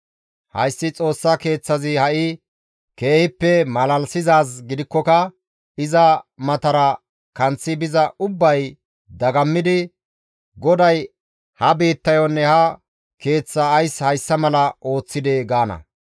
Hayssi Xoossa Keeththazi ha7i keehippe malalisizaaz gidikkoka iza matara kanththi biza ubbay dagammidi, ‹GODAY ha biittayonne ha Keeththaa ays hayssa mala ooththidee?› gaana.